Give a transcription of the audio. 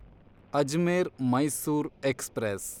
Ajmer Mysore express